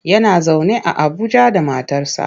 Yana zaune a Abuja da matarsa.